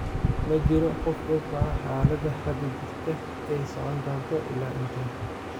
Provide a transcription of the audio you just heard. Ma jiro qof og waxa xaaladda hadda jirta ay socon doonto ilaa intee.